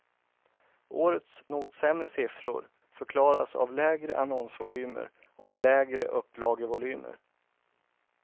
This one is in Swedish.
Årets något sämre siffror förklaras av lägre annonsvolymer och lägre upplagevolymer.